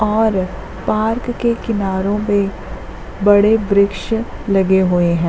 और पार्क के किनारो पे बड़े बृक्छ लगे हुए हैं।